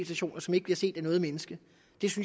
stationer som ikke bliver set af noget menneske